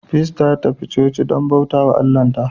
Peace ta tafi coci don bauta wa Allahnta.